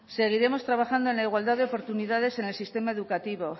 seguiremos trabajando en la igualdad de oportunidades en el sistema educativo